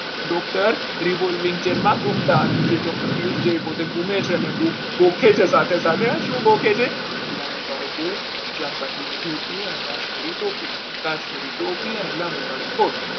doctor revolving chair માં ગુમતા કે doctor પિયુષ જ્યારે ઘૂમે છે ગોખે છે સાથે સાથે શું ભોગે છે ચાર પાટલી નું ધોતિયું અને કાશ્મીરી ટોપી, કાશ્મીરી ટોપી અને લાંબો કાળો કોટ